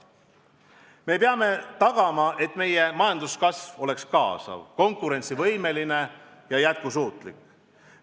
Me peame tagama, et meie majanduskasv on kaasav, konkurentsivõimeline ja jätkusuutlik.